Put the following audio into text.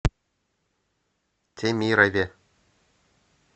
темирове